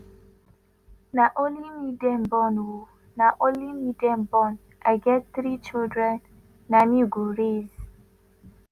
"na only dem born oh na only me dem born i get three children na me go raise